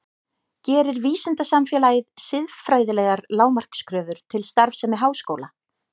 Gerir vísindasamfélagið siðfræðilegar lágmarkskröfur til starfsemi háskóla?